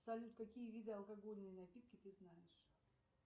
салют какие виды алкогольные напитки ты знаешь